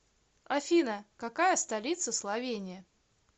афина какая столица словения